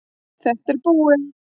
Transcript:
Þetta er búið.